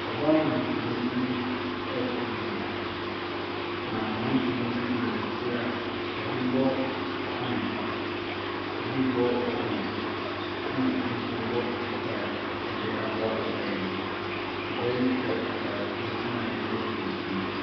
Ɔbaa nnwontoni bi ɛreto nnwom, na mmerateɛ bi nso gyina n’akyi a ɛbi rebɔ ban, ɛbi rebɔ organ na bi nso ɛrebɔ guitar de aboa ɔbaa yi. Ɔbaa yi hyɛ ataadeɛ tenten a ɛyɛ tuntum.